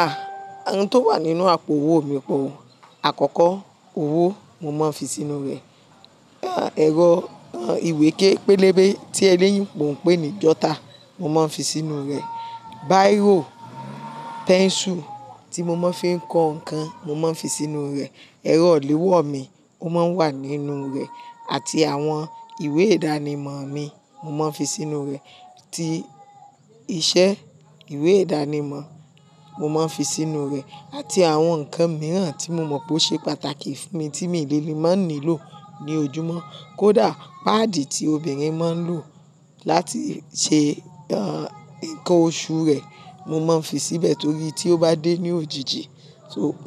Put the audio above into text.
Ah! Ohun tó wà nínú àpò owó mi pọ̀. Àkọ́kọ́ owó mo máa ń fi sínú rẹ̀. Ẹ̀rọ ìwé ké pélébé tí eléyìnbo ń pè ní jota, mo máa ń fi sínú rẹ̀. Bíírò, pẹ́ǹsù tí mo máa ń fi kọ nǹkan, mo máa ń fi sínú rẹ̀. Ẹ̀rọ iléwó mi, ó máa ń wà nínú rẹ̀ àti àwọn ìwé ìdánimọ̀ mi, mo máa ń fi sínú rẹ̀. Ti iṣẹ́ ìwé ìdánimọ̀, mo máa ń fi sínú rẹ̀ àti àwọn nǹkan mìíràn tí mo mọ̀ pé ó ṣe pàtàkì fún mi tí mi dẹ́ lẹ́ máa ń nílò ní ojúmọ́. Kódà páàdì tí obìnrin máa ń lò láti ṣe nǹkan oṣù rẹ̀, mo máa ń fi síbẹ̀ torí tí ó bá dé ní òjijì,